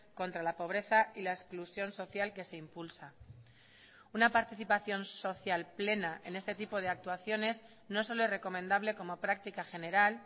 contra la pobreza y la exclusión social que se impulsa una participación social plena en este tipo de actuaciones no solo es recomendable como práctica general